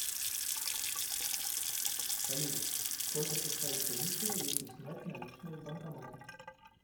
салют сколько составит комиссия если снять наличные в банкомате